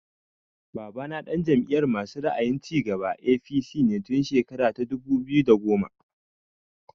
Babana ɗan Jam'iyar masu ra'ayin cigaba (APC) ne tun shekara ta dubu biyu da goma